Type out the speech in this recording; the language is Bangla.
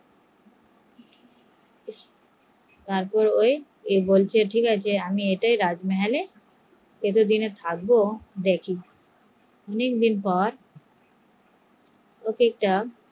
ও বললো ঠিক আছে আমি রাজমহলে থাকবো, অনেকদিন পর